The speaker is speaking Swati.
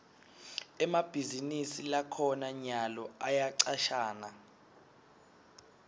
emabhizinisi lakhona nyalo ayacashana